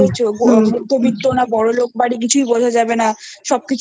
মধ্যবিত্ত না বড়োলোক বাড়ির কিছুই বোঝা যাবে না সবকিছুই